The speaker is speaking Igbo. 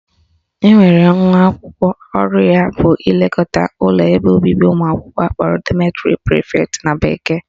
Enwere nwa akwụkwọ ọrụ ya ga-abụ ilekọta ụlọ ebe obibi ụmụakwụkwọ akpọrọ dormitory prefect na bekee